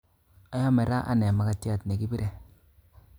Ayome ra ane makatyat nekibire